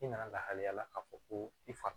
I nana lahalaya la k'a fɔ ko i fa